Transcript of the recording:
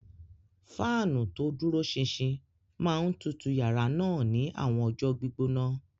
Fáànù tó dúró ṣinṣin máa ń tutù yàrá náà ní àwọn ọjọ́ gbígbóná.